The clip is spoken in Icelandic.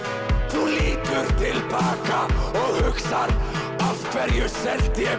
þú lítur til baka og hugsar af hverju seldi ég